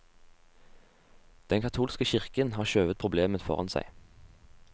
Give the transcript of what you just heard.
Den katolske kirken har skjøvet problemet foran seg.